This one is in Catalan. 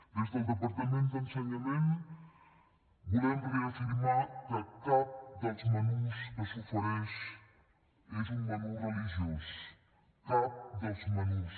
des del departament d’ensenyament volem reafirmar que cap dels menús que s’ofereix és un menú religiós cap dels menús